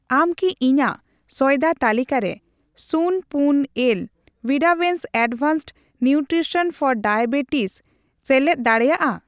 ᱟᱢ ᱠᱤ ᱤᱧᱟᱜ ᱥᱚᱭᱫᱟ ᱛᱟᱹᱞᱤᱠᱟᱨᱮ ᱥᱩᱱᱹᱯᱩᱱ ᱮᱞ ᱣᱤᱰᱟᱣᱮᱱᱥ ᱮᱰᱵᱷᱟᱱᱥᱰ ᱱᱤᱣᱴᱨᱤᱥᱚᱱ ᱯᱷᱚᱨ ᱰᱟᱭᱟᱵᱮᱴᱤᱥ ᱥᱮᱞᱮᱫ ᱫᱟᱲᱮᱭᱟᱜᱼᱟ ?